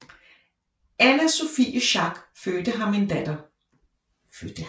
Anna Sophie Schack fødte ham en datter